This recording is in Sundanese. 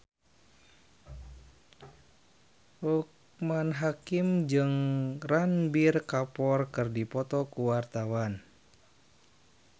Loekman Hakim jeung Ranbir Kapoor keur dipoto ku wartawan